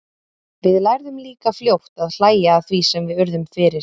Við lærðum líka fljótt að hlæja að því sem við urðum fyrir.